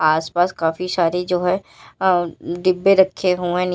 आसपास काफी सारे जो है अ डब्बे रखे हुए--